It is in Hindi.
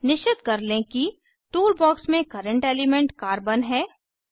निश्चित कर लें कि टूल बॉक्स में कर्रेंट एलिमेंट कार्बन है